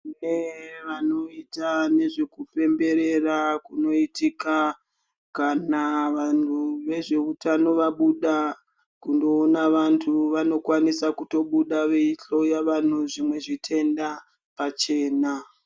Tine vanoita nezvekupemberera kunoitika kana vanhu vezveutano vabuda kundoona vantu vanokwanisa kutobuda veihloya vantu zvimwe zvitenda pachena.